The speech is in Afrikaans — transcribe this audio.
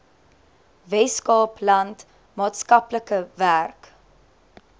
weskaapland maatskaplike werk